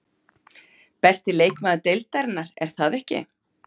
Besti leikmaður deildarinnar, er það ekki?